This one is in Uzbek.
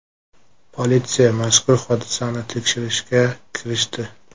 Politsiya mazkur hodisani tekshirishga kirishdi.